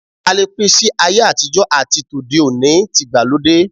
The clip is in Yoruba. A lè pín si ayé àtijó̩ àti tòde òní/tìgbàlódé.